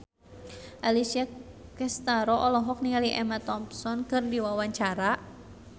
Alessia Cestaro olohok ningali Emma Thompson keur diwawancara